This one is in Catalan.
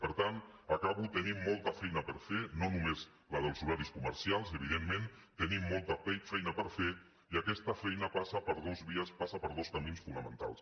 per tant acabo tenim moltes feina per fer no només la dels horaris comercials evidentment tenim molta feina per fer i aquesta feina passa per dues vies passa per dos camins fonamentals